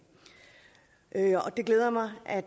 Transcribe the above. det glæder mig at